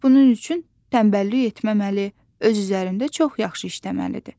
Ancaq bunun üçün tənbəllik etməməli, öz üzərində çox yaxşı işləməlidir.